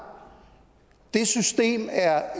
det system er